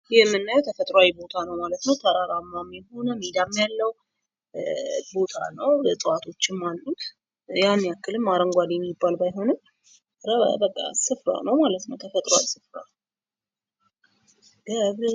ይህ የምናየው ተፈጥሯዊ ቦታ ነው ማለት ነው። ተራራማ የሆነ ሜዳም ያለው ቦታ ነው እጽዋቶችም አሉት። ያን ያክልም አረንጓዴ የሚባል ባይሆንም በቃ ስፍራ ነው ማለት ነው ተፈጥሯዊ ስፍራ።